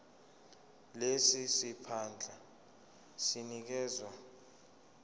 lesi siphandla sinikezwa